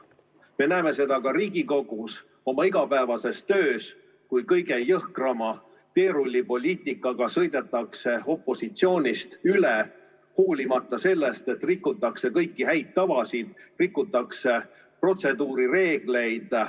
Me näeme seda ka Riigikogus oma igapäevases töös, kui kõige jõhkrama teerullipoliitikaga sõidetakse opositsioonist üle, hoolimata sellest, et rikutakse kõiki häid tavasid, rikutakse protseduurireegleid.